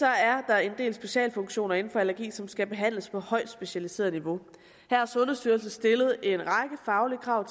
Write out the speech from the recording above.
er der en del specialfunktioner inden for allergi som skal behandles på højt specialiseret niveau her har sundhedsstyrelsen stillet en række faglige krav